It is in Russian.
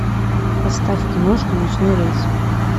поставь киношку ночной рейс